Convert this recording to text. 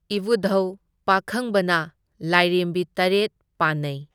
ꯏꯕꯨꯙꯧ ꯄꯥꯈꯪꯕꯅ ꯂꯥꯏꯔꯦꯝꯕꯤ ꯇꯔꯦꯠ ꯄꯥꯟꯅꯩ꯫